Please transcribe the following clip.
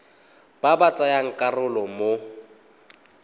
ba ba tsayang karolo mo